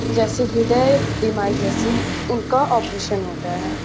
जैसे ह्रदय बीमारी जैसे इनका ऑपरेशन होता है।